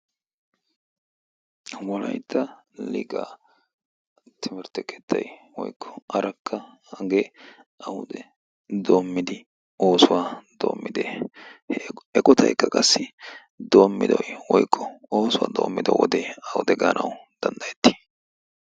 walaytta liqaa timertte kettay woykko arakka hagee awude doommidi oosuwaa doommidee? he eqotaikka qassi doommidoi woykko oosuwaa doommido wodee awude gaanawu danddayetti?